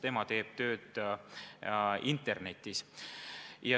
Nemad teevad tööd internetis.